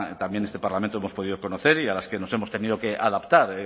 también este parlamento hemos podido conocer y a las que nos hemos tenido que adaptar